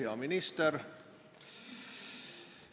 Hea minister!